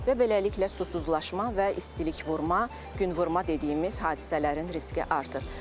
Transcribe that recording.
Və beləliklə susuzlaşma və istilik vurma, günvurma dediyimiz hadisələrin riski artır.